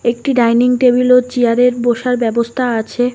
একটি dining table ও chair -এর বসার ব্যবস্থা আছে।